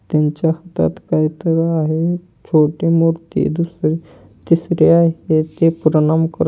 त्यांच्या हातात काहीतरी आहे छोटी मोठी दुसऱ्या तिसऱ्या प्रणाम कर--